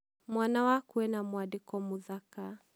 Mwana waku ena mwandĩko mũthaka